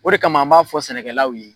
O de kama an b'a fɔ sɛnɛkɛlaw ye